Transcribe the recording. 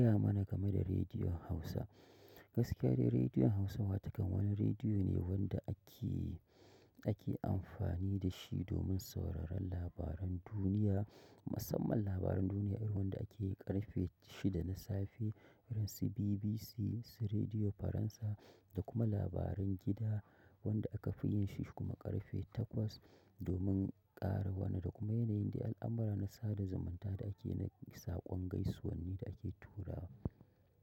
Gaya mana game da Rediyon Hausa. Gaskiya ne Rediyon Hausawa takan wani rediyo ne wanda ake, ake amfani da shi domin sauraron labaran duniya. Musamman labaran duniya irin wanda akeyi ƙarfe shida na safe irin su BBC, su radio Faransa da kuma labaran gida wanda aka fi yin shi kuma ƙarfe takwas domin ƙara wani da kuma yanayin da al'amura na sada zumunta da ake na saƙon gaisuwan ne da ake turawa.